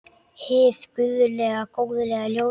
Hið guðlega góðlega ljós.